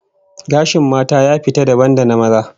Gashin mata ya fita dabam da na maza